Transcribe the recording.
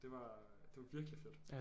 Det var det var virkelig fedt